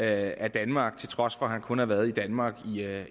af danmark til trods for at han kun havde været i danmark